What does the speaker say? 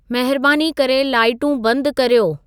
महिबानी करे लाइटूं बंदि कर्यो